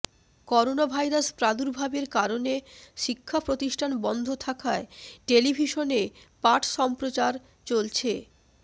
coronavirus প্রাদুর্ভাবের কারণে শিক্ষাপ্রতিষ্ঠান বন্ধ থাকায় টেলিভিশনে পাঠ সম্প্রচার চলছে